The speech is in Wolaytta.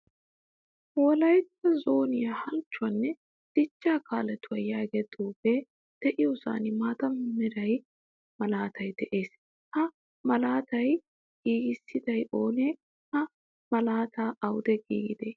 Wolaytta zooniyaa halchchuwaane dichchaa jkaalettuwaa yaagiyaa xuufe deiyosan maataa meraa malaatay de'ees. Ha malaata giigisiday oone? Ha malaatay awude giigide?